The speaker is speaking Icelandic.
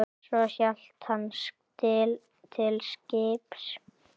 Svo hélt hann til skips.